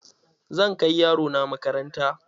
Zan kai yaro na makaranta.